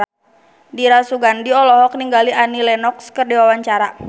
Dira Sugandi olohok ningali Annie Lenox keur diwawancara